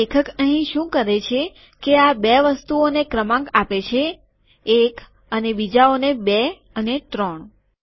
તો લેખક અહીં શું કરે છે કે આ બે વસ્તુઓને ક્રમાંક આપે છે એક અને બીજાઓને બે અને ત્રણ